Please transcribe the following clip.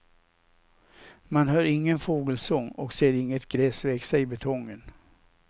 Man hör ingen fågelsång och ser inget gräs växa i betongen.